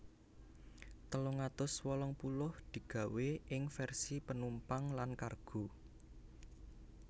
telung atus wolung puluh digawé ing vèrsi penumpang lan kargo